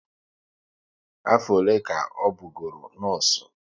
Afọ ole ka ọ bụ goro nọọsụ?